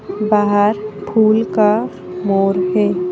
बाहर फूल का मोर है।